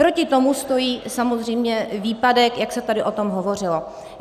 Proti tomu stojí samozřejmě výpadek, jak se tady o tom hovořilo.